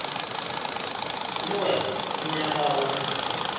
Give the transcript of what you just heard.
le wena o nyaka go